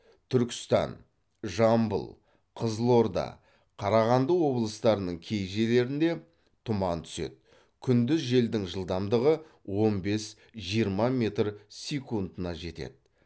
түркістан жамбыл қызылорда қарағанды облыстарының кей жерлерінде тұман түседі күндіз желдің жылдамдығы он бес жиырма метр секундына жетеді